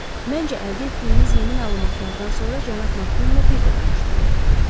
Məncə, əldə etdiyimiz yeni məlumatlardan sonra cənab Makkuinlə bir də danışmalıyıq.